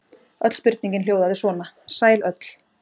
Öll spurningin hljóðaði svona: Sæl öll.